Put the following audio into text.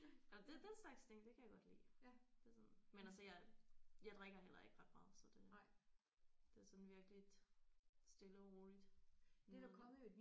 Nåh det den slags ting det kan jeg godt lide det sådan men altså jeg jeg drikker heller ikke ret meget så det det er sådan virkeligt stille og roligt med